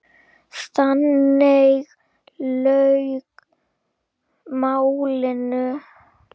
Þannig lauk málinu.